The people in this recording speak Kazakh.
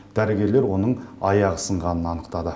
дәрігерлер оның аяғы сынғанын анықтады